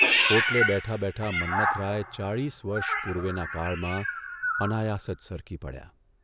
ઓટલે બેઠા બેઠા મન્મથરાય ચાળીસ વર્ષ પૂર્વેના કાળમાં અનાયાસ જ સરકી પડ્યા